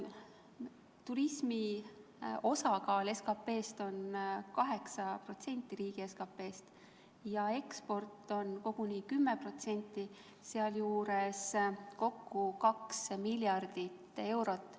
Turismi osakaal riigi SKP-st on 8% ja eksport on koguni 10%, kokku 2 miljardit eurot.